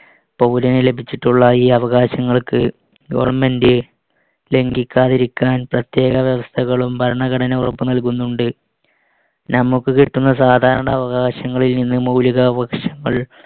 പൗരന് ലഭിച്ചിട്ടുള്ള ഈ അവകാശങ്ങൾക്ക് government ലംഘിക്കാതിരിക്കാൻ പ്രത്യേക വ്യവസ്ഥകളും ഭരണഘടനവകുപ്പ് നൽകുന്നുണ്ട്. നമുക്ക് കിട്ടുന്ന സാധാരണ അവകാശങ്ങളിൽനിന്ന് മൗലികാവകാശങ്ങൾ